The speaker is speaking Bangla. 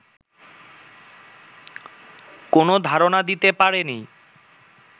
কোন ধারণা দিতে পারে নি